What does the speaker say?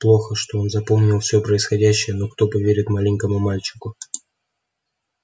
плохо что он запомнил всё происходящее но кто поверит маленькому мальчику